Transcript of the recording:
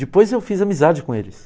Depois eu fiz amizade com eles.